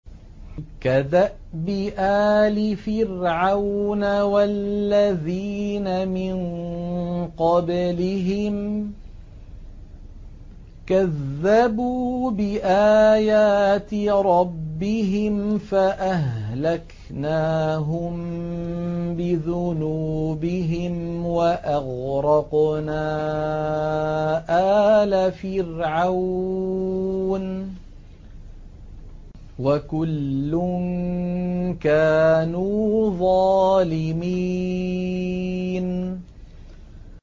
كَدَأْبِ آلِ فِرْعَوْنَ ۙ وَالَّذِينَ مِن قَبْلِهِمْ ۚ كَذَّبُوا بِآيَاتِ رَبِّهِمْ فَأَهْلَكْنَاهُم بِذُنُوبِهِمْ وَأَغْرَقْنَا آلَ فِرْعَوْنَ ۚ وَكُلٌّ كَانُوا ظَالِمِينَ